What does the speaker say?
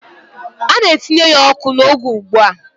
A na-etinye ya ọkụ n'oge ugbu a.